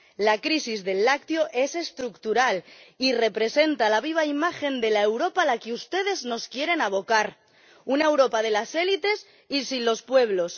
La crisis del lácteo es estructural y representa la viva imagen de la Europa a la que ustedes nos quieren abocar, una Europa de las élites y sin los pueblos.